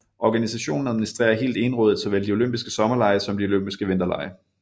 Organisationen administrerer helt egenrådigt såvel de olympiske sommerlege som de olympiske vinterlege